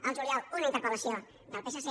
al juliol una interpel·lació del psc